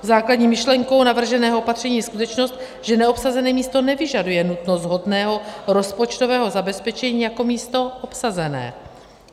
Základní myšlenkou navrženého opatření je skutečnost, že neobsazené místo nevyžaduje nutnost shodného rozpočtového zabezpečení jako místo obsazené.